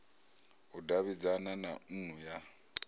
u davhidzana na nnu ya